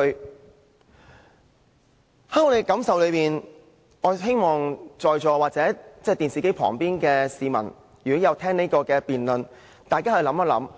根據我們的感受，我們希望在席或電視機前聆聽這項辯論的市民可以想想，